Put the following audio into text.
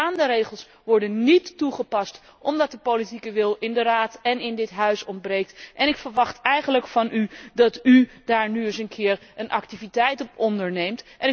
De bestaande regels worden niet toegepast, omdat de politieke wil in de Raad en in dit Huis ontbreekt. Ik verwacht eigenlijk van u dat u daar nu eens een keer stappen voor onderneemt.